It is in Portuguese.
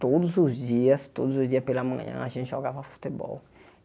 Todos os dias, todos os dias pela manhã, a gente jogava futebol.